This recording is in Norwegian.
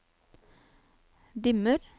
dimmer